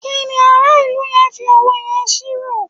kíni ara ilu yẹn fi òwe yẹn ṣírò